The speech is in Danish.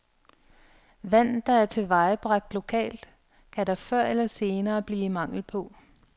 Vand, der er tilvejebragt lokalt, kan der før eller senere blive mangel på.